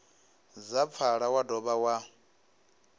dza pfala wa dovha wa